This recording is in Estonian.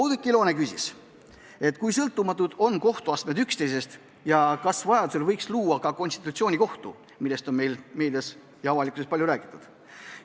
Oudekki Loone küsis, kui sõltumatud on kohtuastmed üksteisest ja kas vajadusel võiks luua ka konstitutsioonikohtu, millest on meedias ja üldse avalikkuses palju räägitud.